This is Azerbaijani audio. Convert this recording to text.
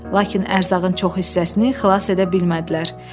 Lakin ərzağın çox hissəsini xilas edə bilmədilər.